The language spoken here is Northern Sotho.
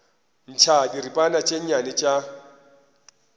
ntšha diripana tše nnyane tša